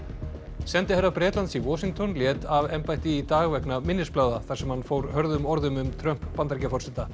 sendiherra Bretlands í Washington lét af embætti í dag vegna minnisblaða þar sem hann fór hörðum orðum um Trump Bandaríkjaforseta